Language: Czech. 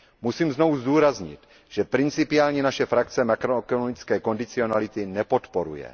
Musím znovu zdůraznit, že principiálně naše frakce makroekonomické kondicionality nepodporuje.